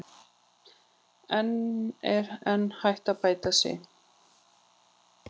En er enn hægt að bæta sig?